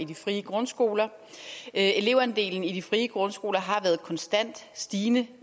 i de frie grundskoler elevandelen i de frie grundskoler har været konstant stigende